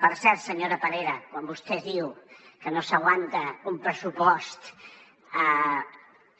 per cert senyora parera quan vostè diu que no s’aguanta un pressupost